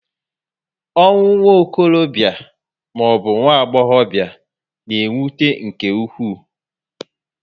Ọnwụ nwokorobia maọbu agbọghobia na-ewute nke ụkwụ